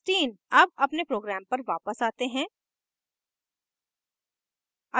अब अपने program पर वापस आते हैं